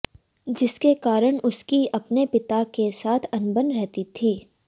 जिसके कारण उसकी अपने पिता के साथ अनबन रहती थी